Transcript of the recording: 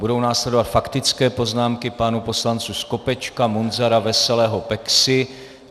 Budou následovat faktické poznámky pánů poslanců Skopečka, Munzara, Veselého, Peksy.